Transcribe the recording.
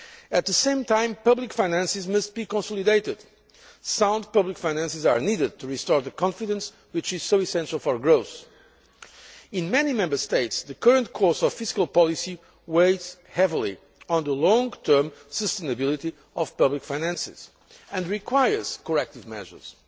At the same time, public finances must be consolidated. Sound public finances are needed to restore the confidence which is so essential for growth. In many Member States, the current course of fiscal policy weighs heavily on the long term sustainability of public finances, and requires corrective measures.